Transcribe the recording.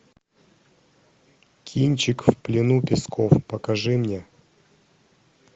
кинчик в плену песков покажи мне